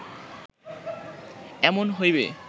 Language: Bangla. এমন হইবে